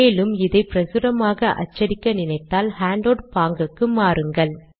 மேலும் இதை பிரசுரமாக அச்சடிக்க நினைத்தால் ஹேண்டவுட் பாங்குக்கு மாறுங்கள்